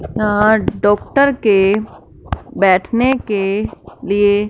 यहां डॉक्टर के बैठने के लिए--